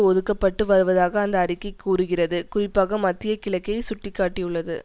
ஒதுக்க பட்டு வருவதாக அந்த அறிக்கை கூறுகிறது குறிப்பாக மத்திய கிழக்கை சுட்டி காட்டியுள்ளது